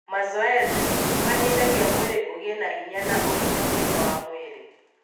Mazoezi nĩ mateithagia mwĩrĩ ũgĩe na hinya na ũgima mwega wa mwĩrĩ.